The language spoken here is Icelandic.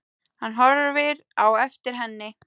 Hann horfir á eftir henni.